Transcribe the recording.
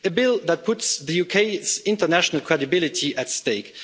a bill that puts the UK's international credibility at stake